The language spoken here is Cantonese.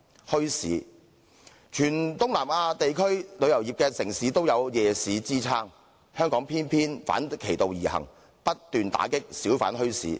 墟市方面，全東南地區的旅遊城市也有夜市支撐，香港偏偏反其道而行，不斷打擊小販墟市。